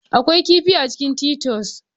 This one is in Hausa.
Akwai kifi a cikin titus